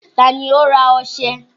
Ta ni ó ra ọșẹ?